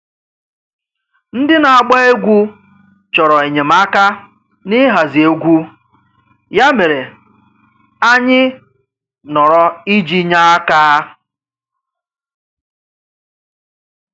Ndị na-agba egwú chọrọ enyemaka n'ịhazi egwu, ya mere, anyị nọrọ iji nye aka.